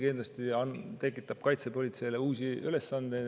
Kindlasti tekitab see ka kaitsepolitseile uusi ülesandeid.